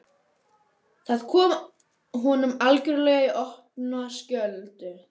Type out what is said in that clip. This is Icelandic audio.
Það kom honum algjörlega í opna skjöldu.